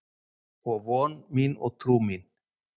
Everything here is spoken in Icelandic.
og von mín og trú mín